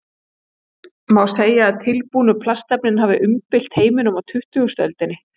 Má segja að tilbúnu plastefnin hafi umbylt heiminum á tuttugustu öldinni.